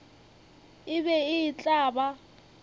e be e tla ba